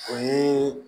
O ye